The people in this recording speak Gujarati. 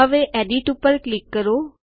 હવે એડિટ ઉપર ક્લિક કરો